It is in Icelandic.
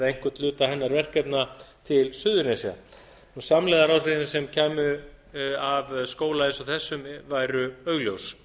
einhvern hluta hennar verkefna til suðurnesja og samlegðaráhrifin sem kæmu af skóla eins og þessum væru augljós